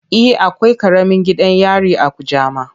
E, akwai karamin gidan yari a Kujama.